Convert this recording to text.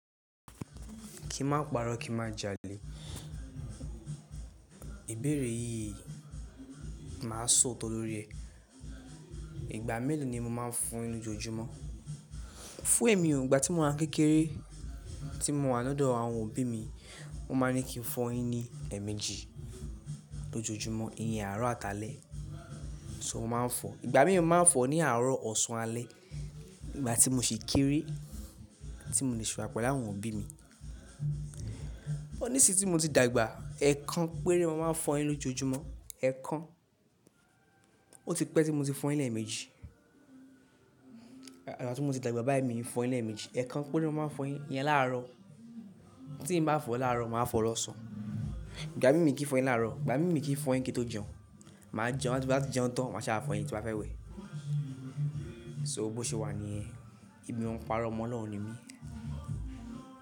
Ki ma paro, ki ma jale. Ìbéèrè yìí máa sọ òótọ́ lórí ẹ. Ìgbà mélòó ni mo máa ń fọ enú jojumo? Fún èmi ò, ìgbà tí mo wà ń kékeré tí mo wà lọ̀ dọ̀ àwọn òbí mi, wọ́n máa ń ní kí n fọ eyín ní è méjì lọ́jọ́jumo, ìyẹn àárọ̀ àtaalẹ́, ṣó mo máa ń fọ. Ìgbà mí mo máa ń fọ ní àárọ̀ ọ̀sán alẹ́ ìgbà tí mo sì kéré tí mo de sì wà pẹ̀lú àwọn òbí mi. Ní sí tí mo ti dàgbà, ẹ̀ kan péré mo máa ń fọ enú lọ́jojúmọ́, ẹ̀ kan. Ó ti pẹ́ tí mo ti fọ eyín lẹẹ̀ẹ̀méjì. Ìgbà tí mo ti dàgbà bàyi mi ń fọ eyin lẹẹ̀ẹ́ẹ̀méjì. Ẹ̀ kan péré mo máa ń fọ eyin iyẹn láàárọ̀. Tí n bá fọ láàárọ̀, màá fọ lọ́sàn-án. Ìgbà mí mi kí n fọ eyin láàárọ̀, ìgbà mí mi kí n fọ eyin kí ń tó jẹun. Máa jẹun, tí bá ti jẹun tán, màá ṣá wá fọ eyin tí ń bá fẹ́ wẹ̀. So bó ṣe wà níyen Èmi ò ń parọ́ omo Ọlọ́run ni mí.